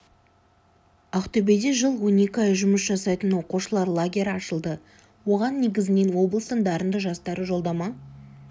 ақтөбеде жыл он екі ай жұмыс жасайтын оқушылар лагері ашылды оған негізінен облыстың дарынды жастары жолдама